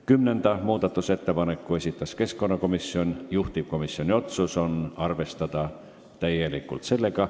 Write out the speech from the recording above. Kümnenda muudatusettepaneku on esitanud keskkonnakomisjon, juhtivkomisjoni otsus on arvestada täielikult.